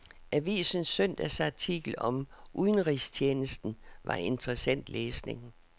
Avisens søndagsartikel om udenrigstjenesten var interessant læsning.